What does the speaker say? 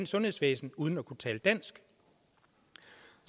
sundhedsvæsen uden at kunne tale dansk